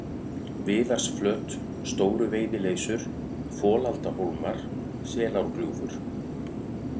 Viðarsflöt, Stóru-Veiðileysur, Folaldahólmar, Selárgljúfur